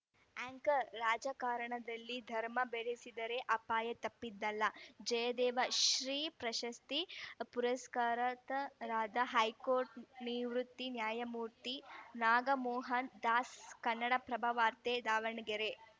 anchor ರಾಜಕಾರಣದಲ್ಲಿ ಧರ್ಮ ಬೆರೆಸಿದರೆ ಅಪಾಯ ತಪ್ಪಿದ್ದಲ್ಲ ಜಯದೇವ ಶ್ರೀ ಪ್ರಶಸ್ತಿ ಪುರಸ್ಕೃತರಾದ ಹೈಕೋರ್ಟ್ ನಿವೃತ್ತ ನ್ಯಾಯಮೂರ್ತಿ ನಾಗಮೋಹನ ದಾಸ್‌ ಕನ್ನಡಪ್ರಭವಾರ್ತೆ ದಾವಣಗೆರೆ